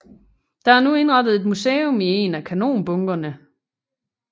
Der er nu indrettet et museum i én af kanonbunkerne